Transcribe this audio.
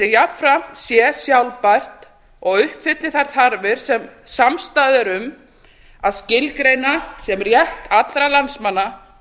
jafnframt sé sjálfbært og uppfylli þær þarfir sem samstaða er um að skilgreina sem rétt allra landsmanna